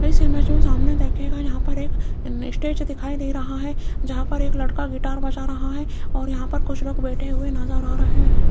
इस इमेज में सामने देखिएगा यहां पर एक स्टेज दिखाई दे रहा है जहां पर एक लड़का गिटार बजा रहा है और यहां पर कुछ लोग बैठे हुए नजर आ रहे हैं।